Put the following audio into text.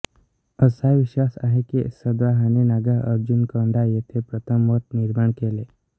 असा विश्वास आहे की सद्वाहाने नागार्जुनकोंडा येथे प्रथम मठ निर्माण केले